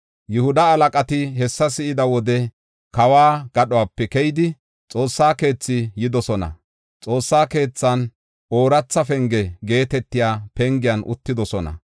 Yihuda halaqati hessa si7ida wode, kawo gadhope keyidi, Xoossa keethi yidosona. Xoossa keethan Ooratha Penge geetetiya pengiyan uttidosona.